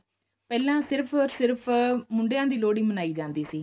ਪਹਿਲਾਂ ਸਿਰਫ ਸਿਰਫ ਮੁੰਡਿਆਂ ਦੀ ਲੋਹੜੀ ਮਨਾਈ ਜਾਂਦੀ ਸੀ